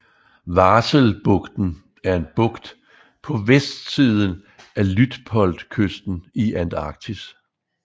Vahselbugten er en bugt på vestsiden af Luitpoldkysten i Antarktis